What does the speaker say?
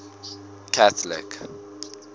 catholic